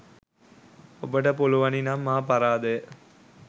ඔබට පුලුවනිනම් මා පරාදය.